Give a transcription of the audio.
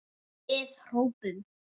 Við hrópum!